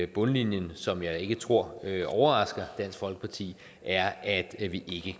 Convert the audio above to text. bundlinjen som jeg ikke tror overrasker dansk folkeparti er at vi